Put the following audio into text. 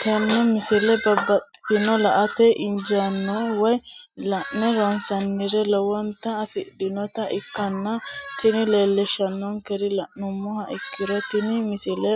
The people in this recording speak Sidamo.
tenne misile baxisannonna la"ate injiitanno woy la'ne ronsannire lowote afidhinota ikkitanna tini leellishshannonkeri la'nummoha ikkiro tini misile